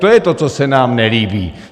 To je to, co se nám nelíbí.